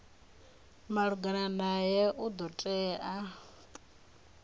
malugana nae u do tea